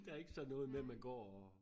Der ikke sådan noget med man går og